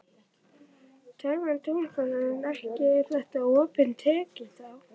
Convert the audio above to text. Telma Tómasson: En ekki er þetta opin tékki þá?